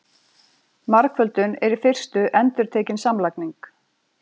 margföldun er í fyrstu endurtekin samlagning